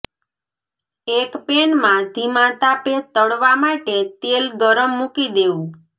એક પેનમાં ધીમા તાપે તળવા માટે તેલ ગરમ મુકી દેવું